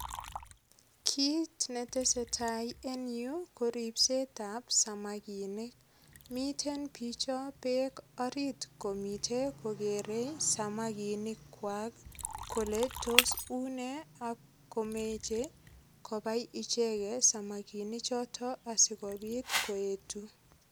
Kit netesetai en yuu, ko ripsetab samakinik. Miten bicho beek orit komiche kokere samakinik kwai kolen tos unee, akomeche kobai icheket samakinik chotok asikobit koetu.